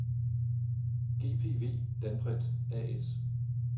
GPV Danprint A/S